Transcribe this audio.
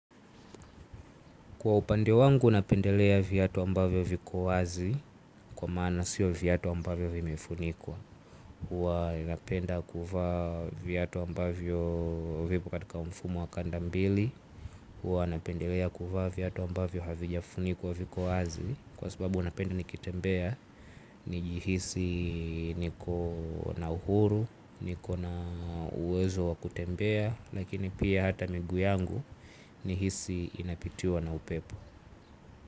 Kwa upande wangu napendelea viatu ambavyo viko wazi kwa maana sio viatu ambavyo vimefunikwa. Huwa napenda kuvaa viatu ambavyo vipo katika mfumo wa kandambili. Huwa napendelea kuvaa viatu ambavyo havijafunikwa viko wazi. Kwa sababu napenda nikitembea, nijihisi niko na uhuru, niko na uwezo wa kutembea. Lakini pia hata miguu yangu nihisi inapitiwa na upepo.